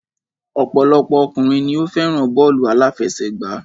Ọ̀pọ̀lọpọ̀ ọkùnrin ni o fẹ́ràn bọ́ọ̀lù àláfẹsẹ̀gbá.